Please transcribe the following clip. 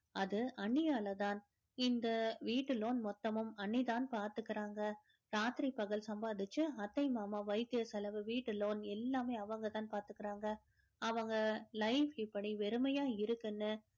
அது அண்ணியாலதான் இந்த வீட்டு loan மொத்தமும் அண்ணிதான் பார்த்துக்கிறாங்க ராத்திரி பகல் சம்பாதிச்சு அத்தை மாமா வைத்திய செலவு வீட்டு loan எல்லாமே அவங்கதான் பாத்துக்கிறாங்க அவங்க life இப்படி வெறுமையா இருக்குன்னு